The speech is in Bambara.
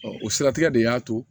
o siratigɛ de y'a to